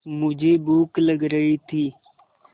मुझे भूख लग रही थी